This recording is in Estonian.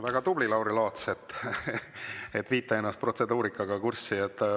Väga tubli, Lauri Laats, et viite ennast protseduurikaga kurssi!